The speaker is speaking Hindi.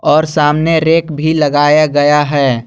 और सामने रैक भी लगाया गया है।